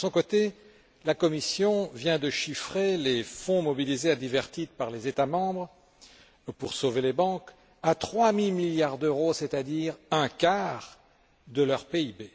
De son côté, la Commission vient de chiffrer les fonds mobilisés à divers titres par les États membres pour sauver les banques à trois mille milliards d'euros, c'est à dire un quart de leur PIB.